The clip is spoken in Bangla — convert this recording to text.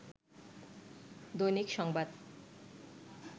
দৈনিক সংবাদ